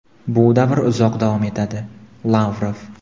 bu davr uzoq davom etadi - Lavrov.